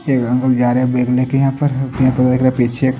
एक अंकल जा रहे बैग ले के यहां पर पीछे--